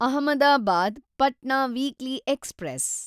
Ahmedabad Patna weekly express